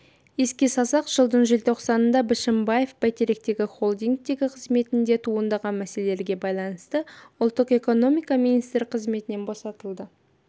еске салсақ жылдың желтоқсанында бішімбаев бәйтеректегі холдингтегі қызметінде туындаған мәселелерге байланысты ұлттық экономика министрі қызметінен босатылды